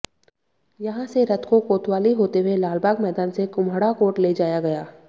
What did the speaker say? यहां से रथ को कोतवाली होते हुए लालबाग मैदान से कुम्हड़ाकोट ले जाया गया